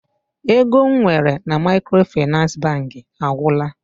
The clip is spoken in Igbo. Ego m nwere na Maịkrofịnansị Bankị agwụla.